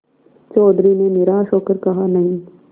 चौधरी ने निराश हो कर कहानहीं